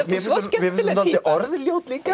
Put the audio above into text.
orðljót líka